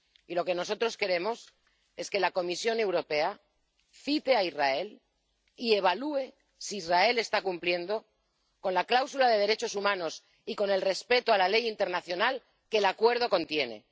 Y lo que nosotros queremos es que la Comisión Europea cite a Israel y evalúe si Israel está cumpliendo la cláusula de derechos humanos y el respeto de la ley internacional que el Acuerdo contiene.